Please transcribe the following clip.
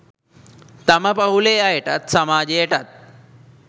තම පවුලේ අයටත් සමාජයටත්